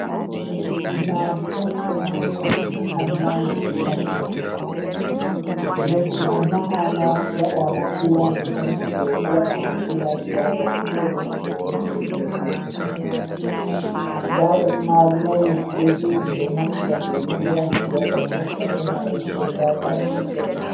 Mahadi on ɗo mahe amma de timmai les mai mahama waɗama pilaji tan dou fu waɗama pilaji nda jamɗe fere lutti ɗo juti hedi les mai gaa en madi mai leddi ɗo jugi ɓeɗo naftira di mahira ɓe waɗa pilasta be mari nden nda ka'e konkere mai.